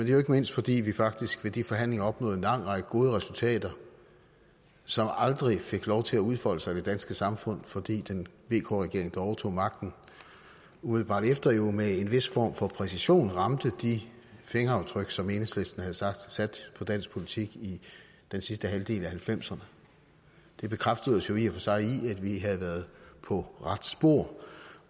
er jo ikke mindst fordi vi faktisk ved de forhandlinger opnåede en lang række gode resultater som aldrig fik lov til at udfolde sig i det danske samfund fordi vk regeringen der overtog magten umiddelbart efter jo med en vis form for præcision ramte de fingeraftryk som enhedslisten havde sat på dansk politik i den sidste halvdel af nitten halvfemserne det bekræftede os jo i og for sig i at vi havde været på rette spor